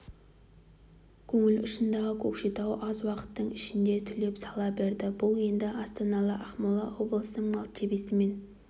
көңіл ұшындағы көкшетау аз уақыттың ішінде түлеп сала берді бұл енді астаналық ақмола облысының мәртебесімен